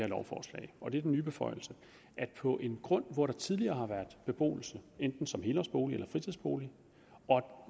lovforslag og det er den nye beføjelse at på en grund hvor der tidligere har været beboelse enten som helårsbolig eller som fritidsbolig og